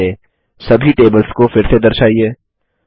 base में सभी tables को फिर से दर्शाइए